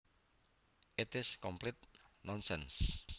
It is complete nonsense